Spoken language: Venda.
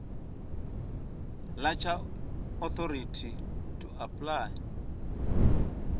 ḓa tsha authority to apply